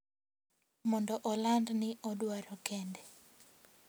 Mondo oland ni odwaro kende.